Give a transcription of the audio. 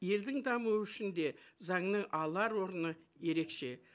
елдің дамуы үшін де заңның алар орны ерекше